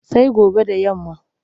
Sai gobe da yamma.